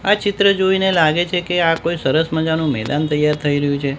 આ ચિત્ર જોઈને લાગે છે કે આ કોઈ સરસ મજાનું મેદાન તૈયાર થઈ રહ્યુ છે.